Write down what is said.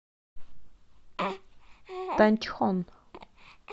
танчхон